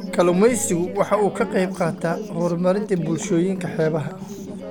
Kalluumaysigu waxa uu ka qayb qaataa horumarinta bulshooyinka xeebaha.